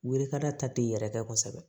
Welekada ta tɛ yɛrɛ kɛ kosɛbɛ